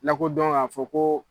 Lakodɔn k'a fɔ ko